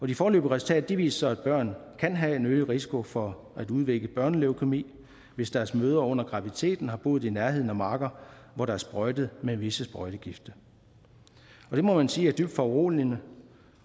de foreløbige resultater viser at børn kan have en øget risiko for at udvikle børneleukæmi hvis deres mødre under graviditeten har boet i nærheden af marker hvor der er sprøjtet med visse sprøjtegifte det må man sige er dybt foruroligende